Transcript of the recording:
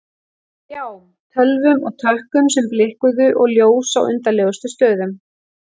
Skjám, tölvum með tökkum sem blikkuðu og ljós á undarlegustu stöðum.